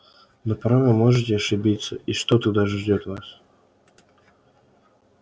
но порой вы можете ошибиться и что тогда ждёт вас